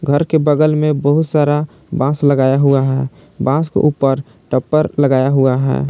घर के बगल में बहुत सारा बास लगाया हुआ है बास के ऊपर टप्पर लगाया हुआ है।